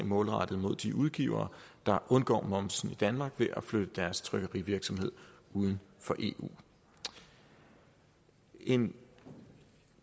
målrettet mod de udgivere der undgår momsen i danmark ved at flytte deres trykkerivirksomhed uden for eu en